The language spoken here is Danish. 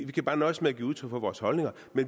kan nøjes med at give udtryk for vores holdninger